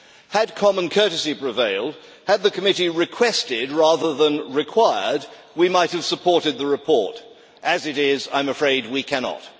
Had common courtesy prevailed, had the committee requested rather than required, we might have supported the report. As it is, I am afraid we cannot.